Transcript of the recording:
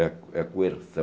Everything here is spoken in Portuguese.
É é a coerção